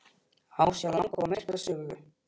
Á sér langa og merka sögu.